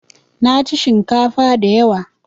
Naci shinkafa da yawa